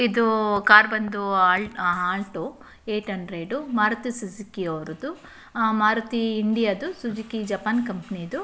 ಇದೂ ಕಾರ್ ಬಂದೂ ಅಲ್ ಆ Alto eight hundred Maruti Suzuki ಅವ್ರದ್ದು ಆ ಮಾರುತಿ ಇಂಡಿಯಾ ದು ಸುಜುಕಿ ಜಪಾನ್ ಕಂಪನಿದು .